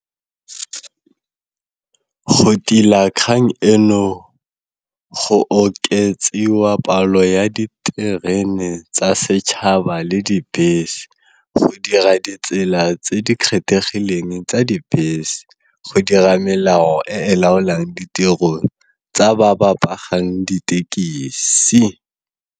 Go tila kgang eno go oketsiwa palo ya diterene tsa setšhaba le dibese, go dira ditsela tse di kgethegileng tsa dibese, go dira melao e e laolang ditirong tsa ba ba ditekisi.